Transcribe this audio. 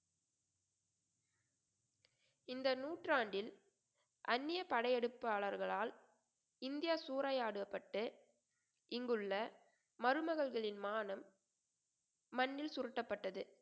இந்த நூற்றாண்டில் அந்நியப் படையெடுப்பாளர்களால் இந்தியா சூறையாடப்பட்டு இங்குள்ள மருமகள்களின் மானம் மண்ணில் சுருட்டப்பட்டது